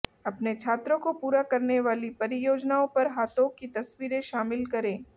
अपने छात्रों को पूरा करने वाली परियोजनाओं पर हाथों की तस्वीरें शामिल करें